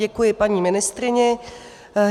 Děkuji, paní ministryni.